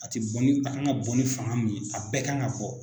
A tɛ bɔ ni a kan ka bɔ ni fanga min ye a bɛɛ ka kan ka bɔ.